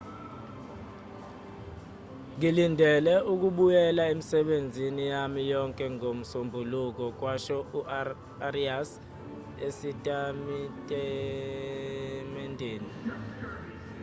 ngilindele ukubuyela emisebenzini yami yonke ngomsombuluko kwasho u-arias esitatimendeni